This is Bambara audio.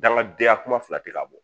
Dangadenya kuma filate k'a bɔ